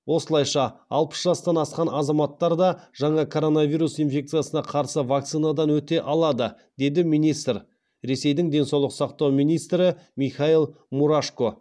осылайша алпыс жастан асқан азаматтар да жаңа коронавирус инфекциясына қарсы вакцинадан өте алады деді министр ресейдің денсаулық сақтау министрі михаил мурашко